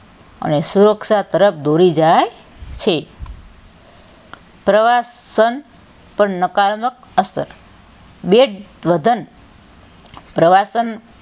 અને સુરક્ષા તરફ દોરી જાય છે પ્રવાસન પર નકારાત્મક અસર બે દ્વ્ધન પ્રવાસન,